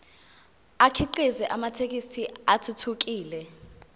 akhiqize amathekisthi athuthukile